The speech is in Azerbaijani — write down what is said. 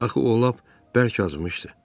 Axı o lap bərk acımışdı.